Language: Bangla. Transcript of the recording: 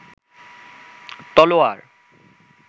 তলোয়ার